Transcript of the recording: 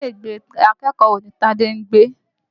Ilé ìgbé akẹ́kọ̀ọ́ wo ni Tádé ń gbé?